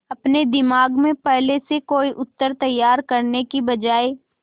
अपने दिमाग में पहले से कोई उत्तर तैयार करने की बजाय